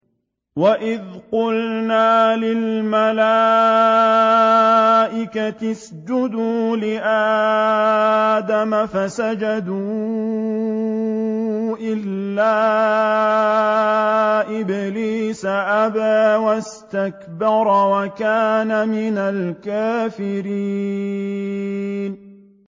وَإِذْ قُلْنَا لِلْمَلَائِكَةِ اسْجُدُوا لِآدَمَ فَسَجَدُوا إِلَّا إِبْلِيسَ أَبَىٰ وَاسْتَكْبَرَ وَكَانَ مِنَ الْكَافِرِينَ